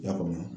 I y'a faamu